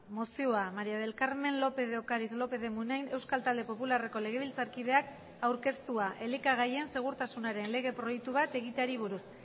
mozioa maría del carmen lópez de ocariz lópez de munain euskal talde popularreko legebiltzarkideak aurkeztua elikagaien segurtasunaren lege proiektu bat egiteari buruz